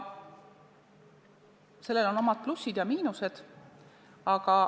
Sellel on omad plussid ja miinused.